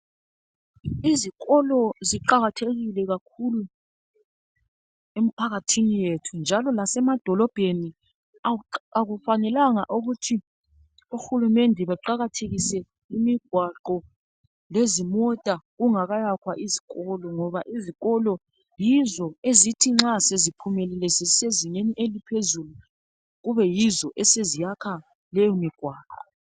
izikolo ziqakathekile kakhulu emphakathini yethu njalo lasemadolobheni akuafanelanga ukuthi uhulumende aqakathekise imigwaqo lezimota kungakayakhwa izikolo ngoba izikolo yizo ezithi nxa seziphelile sezisezingeni eliphezulu kube yizo eziyakha leyo migwaqo